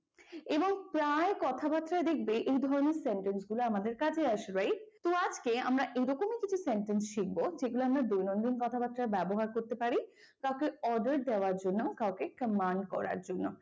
এবং প্রায় কথাবার্তায় দেখবে এই ধরনের sentence গুলো আমাদের কাজে আসে right? তো আজকে আমি এই রকমই কিছু sentence শিখব যেগুলো আমরা দৈনিন্দন কথাবার্তায় ব্যবহার করতে পারি কাউকে order দেওয়ার জন্য কাউকে command করার জন্য।